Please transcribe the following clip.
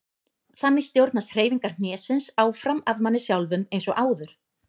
Þannig stjórnast hreyfingar hnésins áfram af manni sjálfum eins og áður.